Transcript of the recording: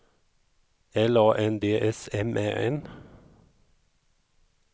L A N D S M Ä N